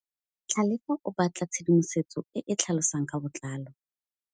Tlhalefô o batla tshedimosetsô e e tlhalosang ka botlalô.